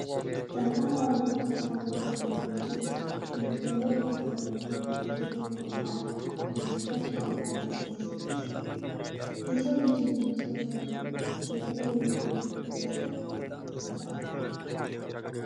ጠንካራ ሮቦት ያልታወቀን ለመግለጥ ዝግጁ ነው። በነጭ ብርሃኑና በትልልቅ ጎማዎቹ በድፍረት ወደፊት ሲገሰግስ፣ የሰው ልጅ እምቅ ችሎታና የቴክኖሎጂን ጥልቅ ምሥጢር ያንጸባርቃል።